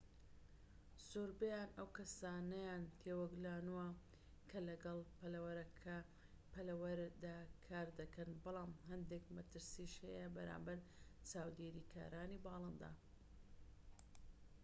زۆربەیان ئەو کەسانەیان تێوەگلانوە کە لەگەڵ پەلەوەردا کار دەکەن بەڵام هەندێک مەترسیش هەیە بەرامبەر چاودێریکارانی باڵندە